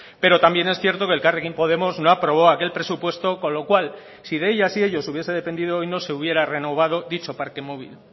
pero también es cierto que elkarrekin podemos no aprobó aquel presupuesto con lo cual si de ellas y ellos hubiese dependido hoy no se hubiera renovado dicho parque móvil